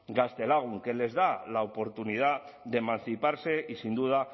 gaztelagun que les da la oportunidad de emanciparse y sin duda